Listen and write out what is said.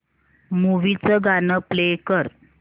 movie चं गाणं play कर